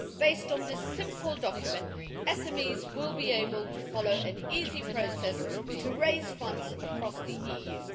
Based on this simple document, SMEs will be able to follow an easy process to raise funds across the EU.